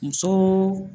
Muso